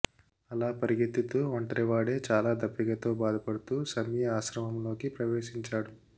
అలా పరిగెత్తుతూ ఒంటరివాడై చాలా దప్పికతో బాధపడుతూ శమీ ఆశ్రమంలోకి ప్రవేశించాడు